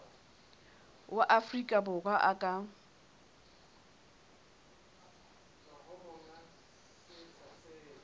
wa afrika borwa a ka